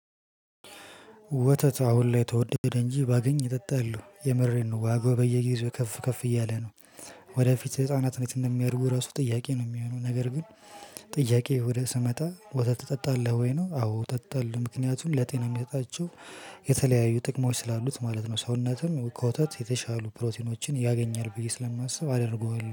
ወተት አሁን ላይ ተወደደ እንጂ ባገኝ እጠጣለው የምሬን ነው ዋጋው በየጊዜው ከፍ ከፍ እያለ ነው። ወደፊት ህፃናት እንዴት እንደሚያድጉ እራሱ ጥያቄ ነው የሚሆነው ነገር ግን። ጥያቄው ወደ ስመጣ ወተት ትጠጣለህ ወይ ነው? አዎ እጠጣለው ምክንያቱም ለጤና የሚሰጣቸው የተለያዩ ጥቅሞች ስላሉት ማለት ነው። ሰውነትም ከወተት የተሻሉ ፕሮቲኖችን ያገኛል ብዬ ስለማስብ እጠጣለው።